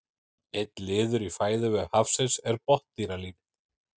einn liður í fæðuvef hafsins er botndýralífið